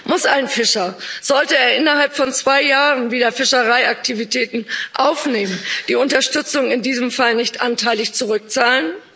Muss ein Fischer, sollte er innerhalb von zwei Jahren wieder Fischereiaktivitäten aufnehmen, die Unterstützung in diesem Fall nicht anteilig zurückzahlen?